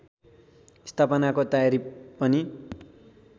स्थापनाको तयारी पनि